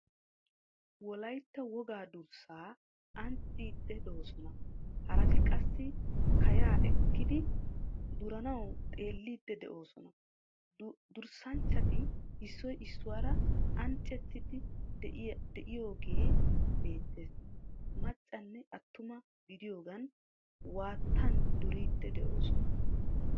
Wolaytta wogaa durssa ancciiddi doosona. Haraati qassi kaya eqqidi duranawu xeelliidi de'oosona. Durssanchchati issoy issuwara annaacettiiddi de'iyogee beettees. Maccanne attuma gidiyogan waattan duriiddi de'oosona